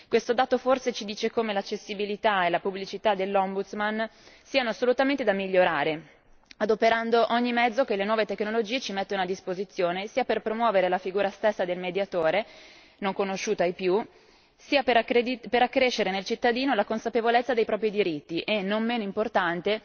Questo dato forse ci dice come l'accessibilità e la pubblicità del Mediatore europeo siano assolutamente da migliorare, adoperando ogni mezzo che le nuove tecnologie ci mettono a disposizione sia per promuovere la figura stessa del Mediatore non conosciuta ai più sia per accrescere nel cittadino la consapevolezza dei propri diritti e non meno importante